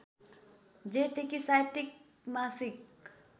जेठदेखि साहित्यिक मासिक